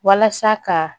Walasa ka